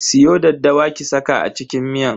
Siyo daddawa ki saka a cikin miyan.